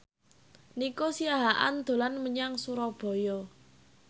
Nico Siahaan dolan menyang Surabaya